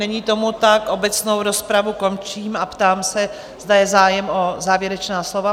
Není tomu tak, obecnou rozpravu končím a ptám se, zda je zájem o závěrečná slova?